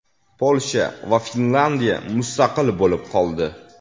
Polsha va Finlandiya mustaqil bo‘lib qoldi.